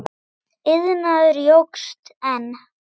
Iðnaður jókst enn.